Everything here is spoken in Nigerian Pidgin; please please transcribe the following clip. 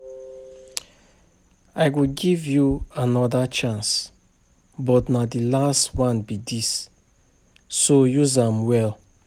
I go give you another chance but na the last one be dis so use am well